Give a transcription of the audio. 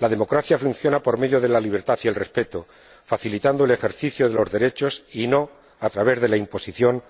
La democracia funciona por medio de la libertad y el respeto, facilitando el ejercicio de los derechos y no a través de la imposición